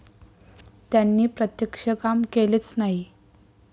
त्यांनी प्रत्यक्ष काम केलेच नाही.